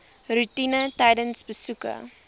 roetine tydens besoeke